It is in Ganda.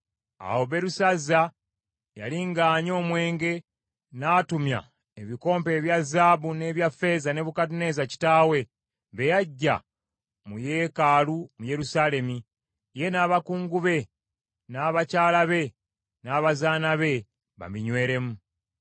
Awo Berusazza, yali ng’anywa omwenge, n’atumya ebikompe ebya zaabu n’ebya ffeeza, Nebukadduneeza kitaawe bye yaggya mu yeekaalu mu Yerusaalemi, ye n’abakungu be, n’abakyala be n’abazaana be babinyweremu.